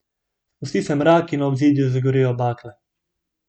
Spusti se mrak in na obzidju zagorijo bakle.